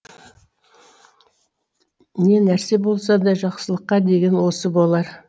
не нәрсе болса да жақсылыққа деген осы болар